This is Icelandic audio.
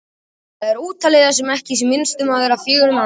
Þá er ótalið það sem ekki er minnst um vert: fegurð mannsins.